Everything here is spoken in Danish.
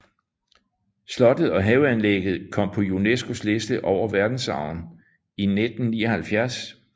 Slottet og haveanlægget kom på UNESCOs liste over verdensarven i 1979